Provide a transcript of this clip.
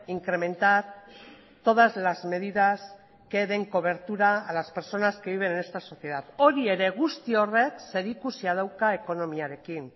incrementar todas las medidas que den cobertura a las personas que viven en esta sociedad hori ere guzti horrek zerikusia dauka ekonomiarekin